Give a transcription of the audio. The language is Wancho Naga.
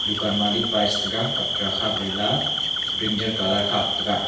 dukan pae shetaiga khak lela brinjal colour khak taiga.